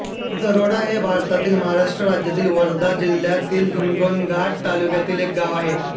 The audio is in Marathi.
दारोडा हे भारतातील महाराष्ट्र राज्यातील वर्धा जिल्ह्यातील हिंगणघाट तालुक्यातील एक गाव आहे